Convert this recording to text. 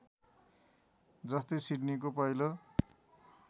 जस्तै सिडनीको पहिलो